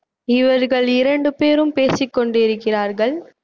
இவர்கள் இரண்டு பேரும் பேசிக் கொண்டிருக்கிறார்கள்